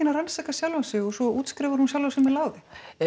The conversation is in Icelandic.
að rannsaka sjálfa sig og svo útskrifa sjálfa sig með láði